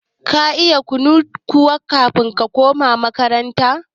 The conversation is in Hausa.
Ka iya kun haɗu da ita kafin ta koma makaranta kuwa?